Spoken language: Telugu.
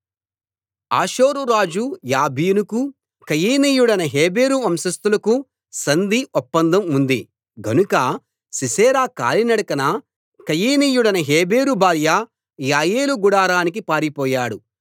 హాసోరు రాజు యాబీనుకూ కయీనీయుడైన హెబెరు వంశస్థులకూ సంధి ఒప్పందం ఉంది గనుక సీసెరా కాలినడకన కయీనీయుడైన హెబెరు భార్య యాయేలు గుడారానికి పారిపోయాడు